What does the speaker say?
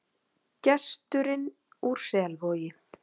GESTURINN ÚR SELVOGI